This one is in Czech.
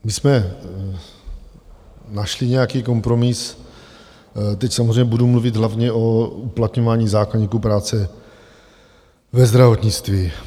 My jsme našli nějaký kompromis, teď samozřejmě budu mluvit hlavně o uplatňování zákoníku práce ve zdravotnictví.